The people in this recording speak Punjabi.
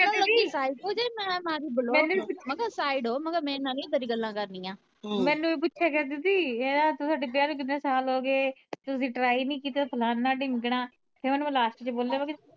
ਮੈ ਮਾਰੀ block ਮੈ ਕਿਹਾ side ਹੋ ਮੇਰੇ ਨਾਲ ਨਹੀਂ ਏਦਾਂ ਦੀਆ ਗੱਲਾਂ ਕਰਨੀਆਂ ਮੈਨੂੰ ਵੀ ਪੁੱਛੇ ਕਹਿੰਦੀ ਸੀ ਇਹ ਤੁਹਾਡੇ ਵਿਆਹ ਨੂੰ ਕਿਨ੍ਹੇ ਸਾਲ ਹੋ ਗਏ ਤੁਸੀ try ਨਹੀਂ ਕੀਤਾ ਫਲਾਣਾ ਢਿਮਕਣਾ ਫਿਰ ਮੈ ਓਹਨੂੰ last ਚ ਬੋਲਿਆ ਮੈ ਕਿਹਾ